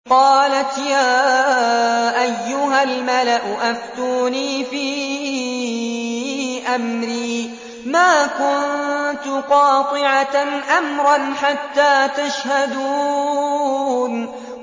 قَالَتْ يَا أَيُّهَا الْمَلَأُ أَفْتُونِي فِي أَمْرِي مَا كُنتُ قَاطِعَةً أَمْرًا حَتَّىٰ تَشْهَدُونِ